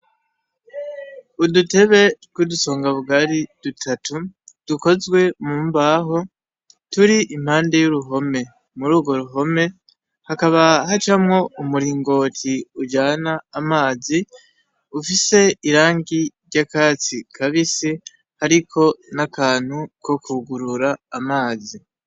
Udutebe rw'udusonga bwari dutatu dukozwe mu mbaho turi impande y'uruhome muri urwo ruhome hakaba hacamwo umuringoti ujana amazi ufise irangi ry'akatsi kabisi hariko n'akantu ko kugurura amazi.